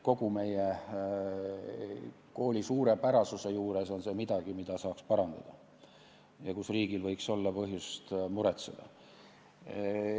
Kogu meie kooli suurepärasuse juures on see midagi, mida saaks parandada ja mille pärast riigil võiks olla põhjust muretseda.